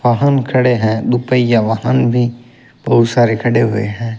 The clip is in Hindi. वाहन खड़े है दुपहिया वाहन भी बहुत सारे खड़े हुए हैं।